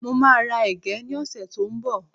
Mo máa ra ẹ̀gẹ́ ní ọ̀sẹ̀ tí ó ń bọ̀